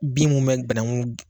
Bin mun bɛ bananku